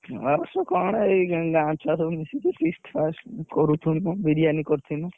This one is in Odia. ନୂଆବର୍ଷ କଣ ଏଇ ଗାଁ ଛୁଆ ସବୁ ମିଶିକି feast ଫାଷ୍ଟ କରୁଛୁ ମୁଁ ବିରିୟାନି କରିଥିଲି ମୁଁ